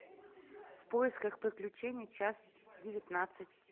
в поисках приключений часть девятнадцать